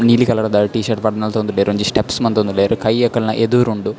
ನೀಲಿ ಕಲರ್ದ T shirt ಪಾಡ್ದ್ ನಲ್ತೊಂದುಲ್ಲೆರ್ ಒಂಜಿ ಸ್ಟೆಪ್ಸ್ ಮಂತೊಂದುಲ್ಲೆರ್ ಕೈ ಅಕಲ್ನ ಎದುರುಂಡು.